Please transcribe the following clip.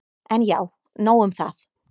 En já, nóg um það.